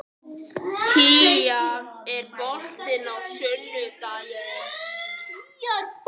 Kía, er bolti á sunnudaginn?